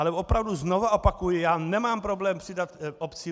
Ale opravdu znovu opakuji, já nemám problém přidat obcím.